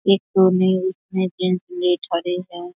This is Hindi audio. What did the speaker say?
एक तो ने उसमे है।